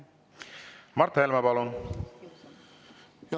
Mart Helme, palun!